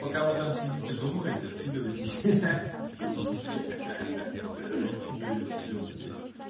пока вы там сидите думаете скидываетесь ха-ха сиськи ха-ха да и всё блядь